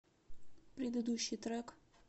предыдущий трек